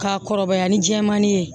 K'a kɔrɔbaya ni jɛmanin ye